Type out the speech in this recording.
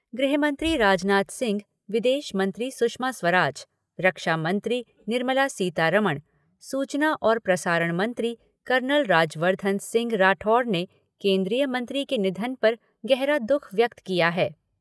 गृहमंत्री राजनाथ सिंह, विदेशमंत्री सुषमा स्वराज, रक्षामंत्री निर्मला सीतारमण, सूचना और प्रसारण मंत्री कर्नल राज्यवर्धन सिंह राठौड़ ने केन्द्रीय मंत्री के निधन पर गहरा दुःख व्यक्त किया है।